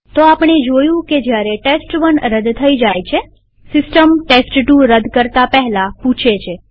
તો આપણે જોયું કે જયારે ટેસ્ટ1 રદ થાય છેસિસ્ટમ ટેસ્ટ2 રદ કરતા પહેલા પૂછે છે